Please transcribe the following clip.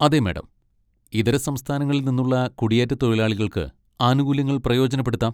അതെ മാഡം, ഇതര സംസ്ഥാനങ്ങളിൽ നിന്നുള്ള കുടിയേറ്റത്തൊഴിലാളികൾക്ക് ആനുകൂല്യങ്ങൾ പ്രയോജനപ്പെടുത്താം.